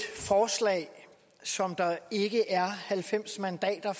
forslag som der ikke er halvfems mandater